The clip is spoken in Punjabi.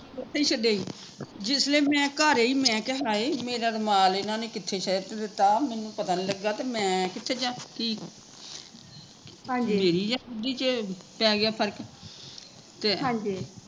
ਉੱਥੇ ਹੀਂ ਛੱਡ ਆਈ ਜਿਸ ਵੇਲੇ ਮੈਂ ਘਰ ਆਈ ਮੈਂ ਕਿਹਾ ਹਾਏ ਮੇਰਾ ਰੁਮਾਲ ਇਹਨਾਂ ਨੇ ਕਿੱਥੇ ਛਿਟ ਦਿੱਤਾ ਮੈਂਨੂੰ ਪਤਾ ਨੀ ਲਗਾ ਤੇ ਮੈ ਕਿੱਥੇ ਜਾਂ ਕੀ ਮੇਰੀ ਬੁੱਧੀ ਚ ਪੈ ਗਿਆ ਫਰਕ